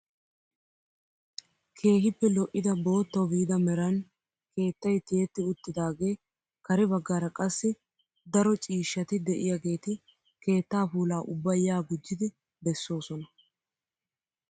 Keehippe lo"ida boottawu biida meran keettay tiyetti uttidagee kare baggaara qassi daro ciishshati de'iyaageti keettaa puulaa ubba yaa gujjidi bessoosona!